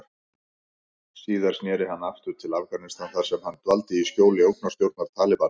Síðar sneri hann aftur til Afganistan þar sem hann dvaldi í skjóli ógnarstjórnar Talibana.